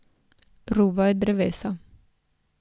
Ruvajo drevesa.